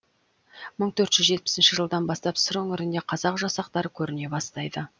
мың төрт жүз жетпісінші жылдан бастап сыр өңіріне қазақ жасақтары көріне бастайды